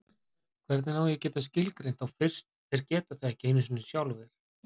Hvernig á ég að geta skilgreint þá fyrst þeir geta það ekki einu sinni sjálfir?